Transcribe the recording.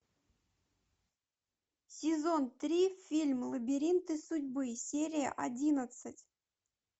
сезон три фильм лабиринты судьбы серия одиннадцать